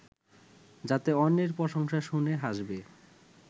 যাতে অন্যের প্রশংসা শুনে হাসবে